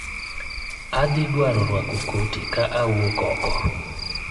Adhi dwaro rwako koti ka awuok oko